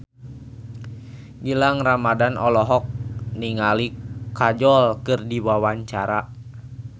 Gilang Ramadan olohok ningali Kajol keur diwawancara